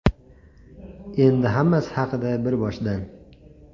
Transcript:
Endi hammasi haqida bir boshdan.